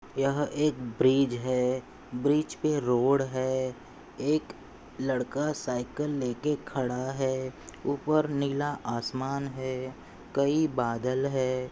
यह एक ब्रिज है। ब्रिज पर रोड है। एक लड़का साइकिल लेके खड़ा है। ऊपर नीला आसमान है। कई बादल है।